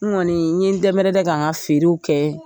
N kɔni n ye n dɛnmɛrɛdɛn ka n ka feerew kɛ